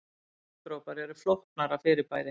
Regndropar eru flóknara fyrirbæri.